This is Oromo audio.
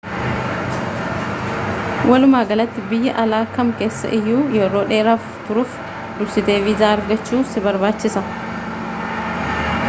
walumaagalatti biyya alaa kam keessa iyyuu yeroo dheeraaf turuuf dursitee viizaa argachuu si barbaachisa